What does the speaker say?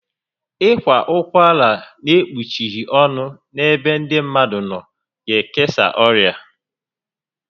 Ị kwa ụkwara n'ekpuchighi ọnụ n'ebe ndị mmadụ nọ ga ekesa ọrịa